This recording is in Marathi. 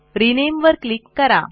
रिनेम वर क्लिक करा